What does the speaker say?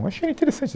Eu achei interessante